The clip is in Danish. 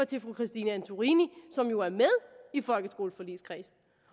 til fru christine antorini som jo er med i folkeskoleforligskredsen